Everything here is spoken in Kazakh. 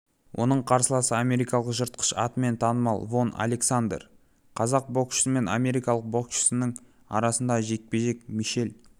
оның қарсыласы америкалық жыртқыш атымен танымал вон александер қазақ боксшысы мен америкалық боксшының арасындағы жекпе-жек мишель